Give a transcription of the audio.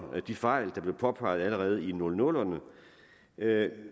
de fejl der blev påpeget allerede i nullerne